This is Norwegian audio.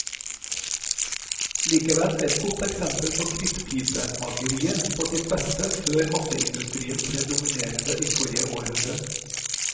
Likevel et godt eksempel på krittpipemakeriet på sitt beste før masseindustrien ble dominerende i forrige århundre.